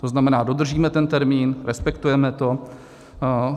To znamená, dodržíme ten termín, respektujeme to.